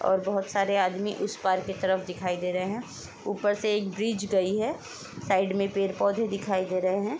और बहुत सारे आदमी उस पार की तरफ दिखाई दे रहे हैं। ऊपर से एक ब्रिज गई है। साइड में पेड़ पौधे दिखाई दे रहे हैं।